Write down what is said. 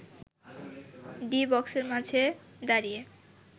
D বক্সের মাঝে দাঁড়িয়ে